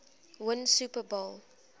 win super bowl